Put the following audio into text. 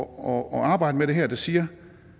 og arbejde med det her der siger